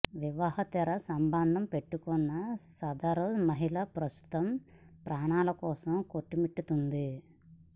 వివాహేతర సంబంధం పెట్టుకున్న సదరు మహిళ ప్రస్తుతం ప్రాణాల కోసం కొట్టుమిట్టాడుతోంది